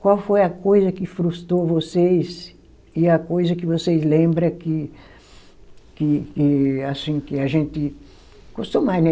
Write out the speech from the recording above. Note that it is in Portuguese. Qual foi a coisa que frustrou vocês e a coisa que vocês lembra que, que que, assim que a gente gostou mais, né?